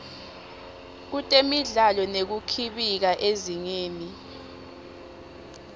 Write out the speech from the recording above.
kutemidlalo nekukhibika ezingeni